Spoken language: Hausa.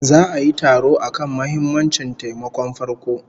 Za'a yi taro akan muhimammancin taimakon farko